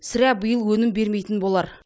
сірә биыл өнім бермейтін болар